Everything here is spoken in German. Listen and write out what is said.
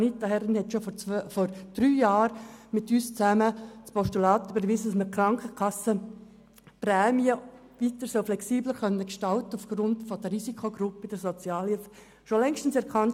Anita Herren hat schon vor drei Jahren zusammen mit uns ein Postulat überwiesen, damit die Krankenkassenprämien weiter aufgrund der Risikogruppen der Sozialhilfe flexibel gestaltet werden können.